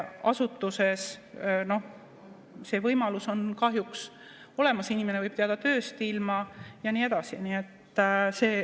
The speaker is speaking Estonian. Asutuses see võimalus on kahjuks olemas, inimene võib jääda tööst ilma ja nii edasi.